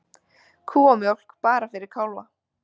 Kúamjólk bara fyrir kálfa